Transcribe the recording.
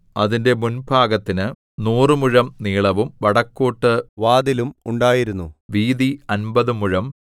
അതിന്റെ മുൻഭാഗത്തിന് നൂറുമുഴം നീളവും വടക്കോട്ടു വാതിലും ഉണ്ടായിരുന്നു വീതി അമ്പത് മുഴം